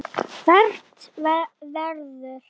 Fermt verður.